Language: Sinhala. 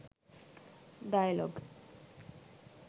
dialog